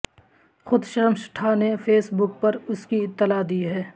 خود شرمشٹھا نے Facebook پر اس کی اطلاع دی ہے